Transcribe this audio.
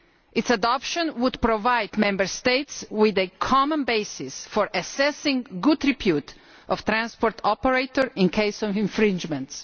Its adoption would provide Member States with a common basis for assessing the good repute of transport operators in the event of infringements.